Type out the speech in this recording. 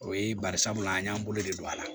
O ye bari sabula an y'an bolo de don a la